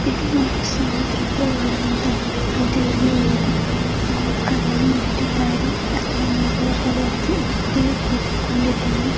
ಇದು ಒಂದು ಸಮುದ್ರದ ಅಂತ ಹೇಳ್ಬಹುದು ಇಲ್ಲಿ ಒಂದು ಗುಂಡುಕಲ್ಲನ್ನು ಇಟ್ಟಿದ್ದಾರೆ ಅದರ ಮೇಲೆ ಒಬ್ಬ ವ್ಯಕ್ತಿ ವ್ಯಕ್ತಿಯು ಕೂತುಕೊಂಡಿದ್ದಾನೆ .